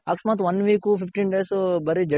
ಅಕಸ್ಮಾತ್ one week fifteen days ಬರಿ ಜಡಿ